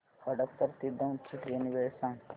हडपसर ते दौंड ची ट्रेन वेळ सांग